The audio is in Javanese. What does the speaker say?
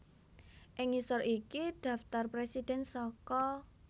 Ing ngisor iki dhaptar presidhèn saka